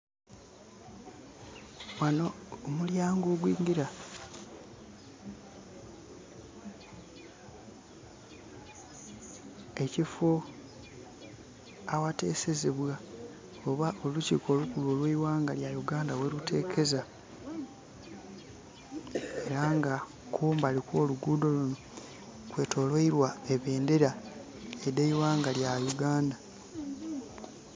Wano omulyango ogwingira ekifo agha tesezebwa oba olukiko olukulu olwe eighanga Uganda gheri tekeza era nga kumbali kwo luguudho lunho kwetoloirwa ebendhera edheighanga lya Uganda.